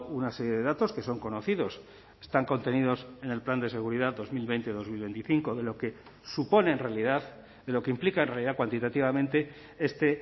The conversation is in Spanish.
una serie de datos que son conocidos están contenidos en el plan de seguridad dos mil veinte dos mil veinticinco de lo que supone en realidad de lo que implica en realidad cuantitativamente este